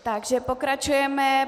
Takže pokračujeme.